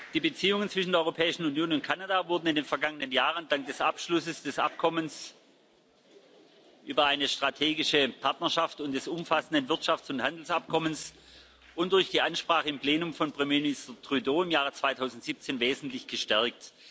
Die Beziehungen zwischen der Europäischen Union und Kanada wurden in den vergangenen Jahren dank des Abschlusses des Abkommens über eine strategische Partnerschaft und des umfassenden Wirtschafts und Handelsabkommens und durch die Ansprache im Plenum von Premiermister Trudeau im Jahr 2017 wesentlich gestärkt.